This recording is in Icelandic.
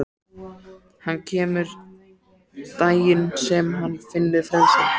Hann kemur daginn sem hann finnur frelsið.